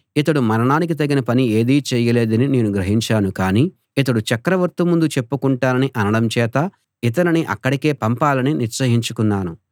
ఇతడు మరణానికి తగిన పని ఏదీ చేయలేదని నేను గ్రహించాను కానీ ఇతడు చక్రవర్తి ముందు చెప్పుకొంటానని అనడం చేత ఇతనిని అక్కడికే పంపాలని నిశ్చయించాను